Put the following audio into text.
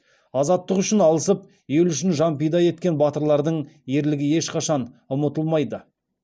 азаттық үшін алысып ел үшін жан пида еткен батырлардың ерлігі ешқашан ұмытылмайды